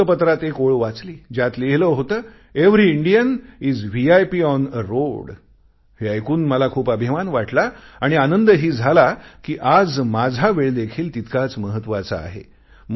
मी वृत्तपत्रात एक ओळ वाचली ज्यात लिहिले होत every Indian is a VIP on a road हे ऐकून मला खूप अभिमान वाटला आणि आनंदही झाला कि आज माझा वेळ देखील तितकाच महत्त्वाचा आहे